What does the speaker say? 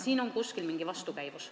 Siin on kuskil mingi vastukäivus.